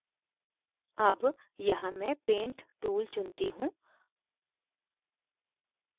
अब यहाँ मैं paint tool चुनती हूँ